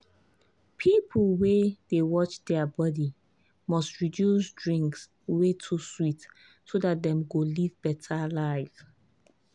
people wey dey watch their body must reduce drinks wey too sweet so dat dem go live better life.